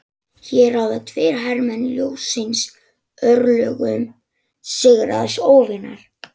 Hér ráða tveir hermenn ljóssins örlögum sigraðs óvinar.